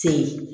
Se ye